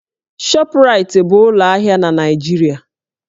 Shọpraịtị bụ ụlọ ahịa na Naịjirịa